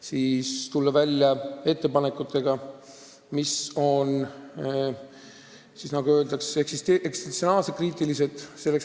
Sellele tuli mõelda juba siis, kui me leppisime kokku koalitsioonilepingut, teades selle valdkonna probleeme.